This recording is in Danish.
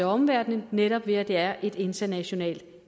omverdenen netop ved at det er et internationalt